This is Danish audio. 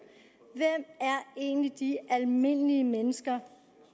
egentlig de almindelige mennesker